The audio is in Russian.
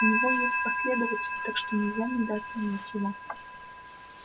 у него есть последователи так что нельзя недооценивать его